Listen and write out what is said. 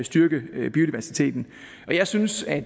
styrke biodiversiteten jeg synes at